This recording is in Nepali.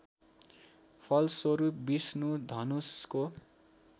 फलस्वरूप विष्णु धनुषको